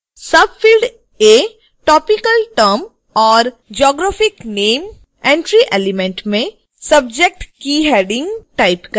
subfield a topical term or geographic name entry element में subject की heading type करें